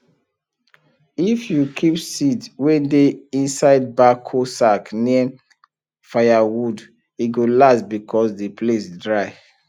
if you keep seed wey dey inside backo sack near firewood e go last because the place dry